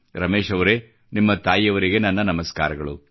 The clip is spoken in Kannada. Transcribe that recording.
ರಮೇಶ್ ಅವರೇ ನಿಮ್ಮ ತಾಯಿಯವರಿಗೆ ನನ್ನ ನಮಸ್ಕಾರಗಳು